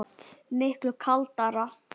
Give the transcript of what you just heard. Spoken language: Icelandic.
Oft miklu kaldara